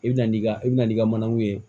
I bɛ na n'i ka i bɛna n'i ka manaw ye